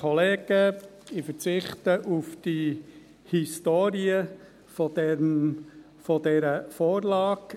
Ich verzichte auf die Historie dieser Vorlage.